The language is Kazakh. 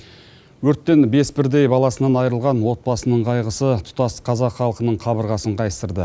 өрттен бес бірдей баласынан айырылған отбасының қайғысы тұтас қазақ халқының қабырғасын қайыстырды